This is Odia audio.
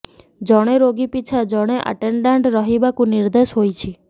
ଜଣେ ରୋଗୀ ପିଛା ଜଣେ ଆଟେଣ୍ଡାଣ୍ଟ ରହିବାକୁ ନିର୍ଦ୍ଦେଶ ହୋଇଛି